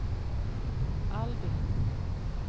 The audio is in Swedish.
Albin